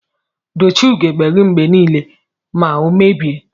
Dochie ugegbe gi mgbe nile ma omebie.